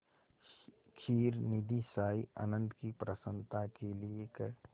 क्षीरनिधिशायी अनंत की प्रसन्नता के लिए क्